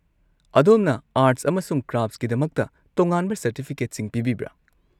ꯑꯗꯣꯝꯅ ꯑꯥꯔꯠꯁ ꯑꯃꯁꯨꯡ ꯀ꯭ꯔꯥꯐꯠꯁꯀꯤꯗꯃꯛꯇ ꯇꯣꯉꯥꯟꯕ ꯁꯔꯇꯤꯐꯤꯀꯦꯠꯁꯤꯡ ꯄꯤꯕꯤꯕ꯭ꯔꯥ?